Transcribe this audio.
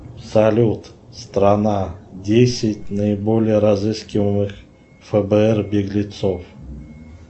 салют страна десять наиболее разыскиваемых фбр беглецов